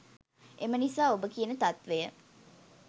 එම නිසා ඔබ කියන තත්වය